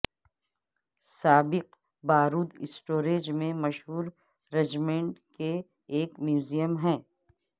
سابق بارود اسٹوریج میں مشہور رجمنٹ کے ایک میوزیم ہے